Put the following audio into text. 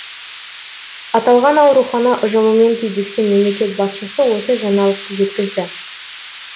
аталған аурухана ұжымымен кездескен мемлекет басшысы осы жаңалықты жеткізді